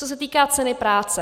Co se týká ceny práce.